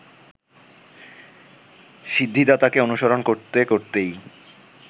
সিদ্ধিদাতাকে অনুসরণ করতে করতেই